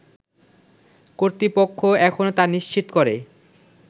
কর্তৃপক্ষ এখনও তা নিশ্চিত করে